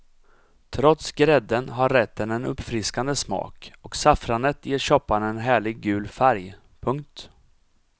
Trots grädden har rätten en uppfriskande smak och saffranet ger soppan en härligt gul färg. punkt